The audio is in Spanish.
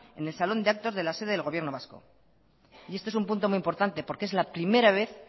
trece cero en el salón de actos de la sede del gobierno vasco y esto es un punto muy importante porque es la primera vez